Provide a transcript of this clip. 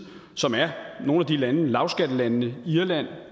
som er nogle af de lande lavskattelandene irland